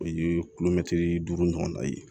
O ye duuru ɲɔgɔnna ye